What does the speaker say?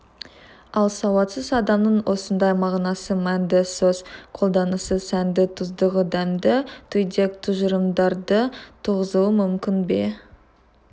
ал сауатсыз адамның осындай мағынасы мәнді сөз қолданысы сәнді тұздығы дәмді түйдек тұжырымдарды туғызуы мүмкін бе